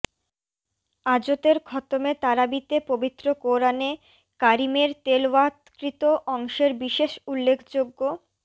আজতের খতমে তারাবিতে পবিত্র কোরআনে কারিমের তেলাওয়াতকৃত অংশের বিশেষ উল্লেখযোগ্য